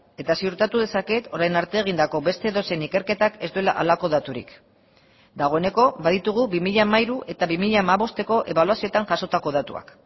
eta ziurtatu dezaket orain arte egindako beste edozein ikerketak ez duela halako daturik dagoeneko baditugu bi mila hamairu eta bi mila hamabosteko ebaluazioetan jasotako datuak